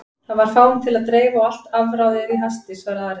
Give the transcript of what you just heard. Það var fáum til að dreifa og allt afráðið í hasti, svaraði Ari.